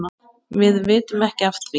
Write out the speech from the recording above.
Við vitum ekki af því.